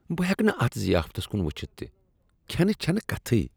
بہٕ ہیکہٕ نہٕ اتھ ضیافتس کن وٕچھتھ تہ، کھینچ چھنہٕ کتھے۔